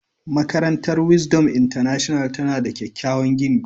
Makarantar Wisdom International tana da kyakkyawan gini.